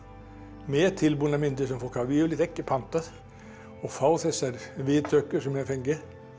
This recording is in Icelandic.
með tilbúnar myndir sem fólk hefur yfirleitt ekki pantað og fá þessar viðtökur sem ég hef fengið